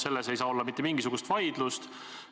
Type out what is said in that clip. Selle üle ei saa olla mitte mingisugust vaidlust.